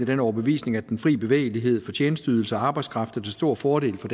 den overbevisning at den fri bevægelighed for tjenesteydelser og arbejdskraft er til stor fordel for